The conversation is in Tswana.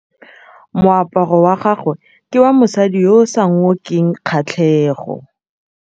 Moaparô wa gagwe ke wa mosadi yo o sa ngôkeng kgatlhegô.